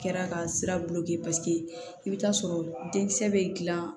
Kɛra ka sira i bɛ taa sɔrɔ denkisɛ bɛ dilan